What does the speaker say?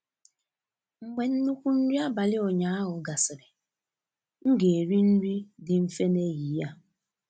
Mgbe nnukwu nri abalị ụnyaahụ gasịrị, m ga-eri nri nri dị mfe n'ehihie a.